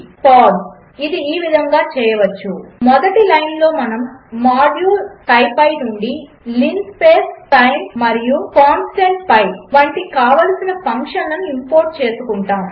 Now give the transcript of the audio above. ల్ట్పాజెగ్ట్ ఇది ఈ విధముగా చేయవచ్చు మొదటి లైన్లో మనము మాడ్యూల్ స్కిపీ నుండి linspace sin మరియు కాన్స్టెంట్ పిఐ వంటి కావలసిన ఫంక్షన్లను ఇంపోర్ట్ చేసుకుంటాము